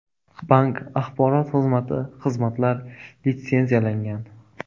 Bank axborot xizmati Xizmatlar litsenziyalangan.